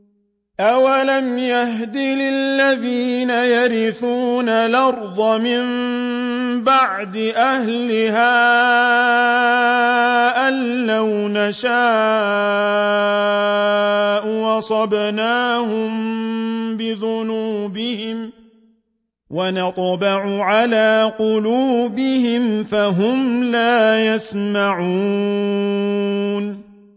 أَوَلَمْ يَهْدِ لِلَّذِينَ يَرِثُونَ الْأَرْضَ مِن بَعْدِ أَهْلِهَا أَن لَّوْ نَشَاءُ أَصَبْنَاهُم بِذُنُوبِهِمْ ۚ وَنَطْبَعُ عَلَىٰ قُلُوبِهِمْ فَهُمْ لَا يَسْمَعُونَ